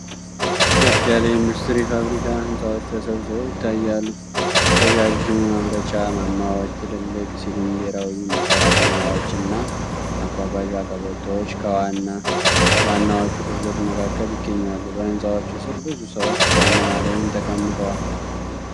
ከፍ ያለ የኢንዱስትሪ ፋብሪካ ህንፃዎች ተሰብስበው ይታያሉ። ረዣዥም የማምረቻ ማማዎች፣ ትልልቅ ሲሊንደራዊ ማጠራቀሚያዎች እና ማጓጓዣ ቀበቶዎች ከዋና ዋናዎቹ ክፍሎች መካከል ይገኛሉ። በህንፃዎቹ ስር ብዙ ሰዎች ቆመዋል ወይም ተቀምጠዋል።